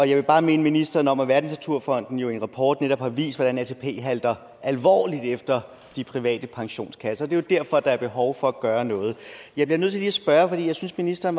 jeg vil bare minde ministeren om at wwf verdensnaturfonden i en rapport netop har vist hvordan atp halter alvorligt efter de private pensionskasser det er jo derfor der er behov for at gøre noget jeg bliver nødt til lige at spørge jeg synes ministeren